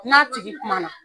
N n'a tigi kuma na.